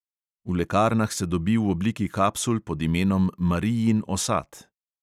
V lekarnah se dobi v obliki kapsul pod imenom marijin osat.